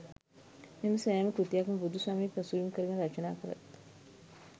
මෙම සෑම කෘතියක්ම බුදු සමය පසුබිම් කරගෙන රචනා කර